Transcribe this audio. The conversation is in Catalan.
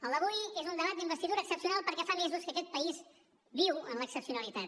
el d’avui és un debat d’investidura excepcional perquè fa mesos que aquest país viu en l’excepcionalitat